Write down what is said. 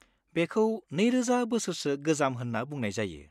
बेखौ 2,000 बोसोरसो गोजाम होनना बुंनाय जायो।